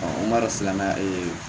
o m'a dɔn silamɛ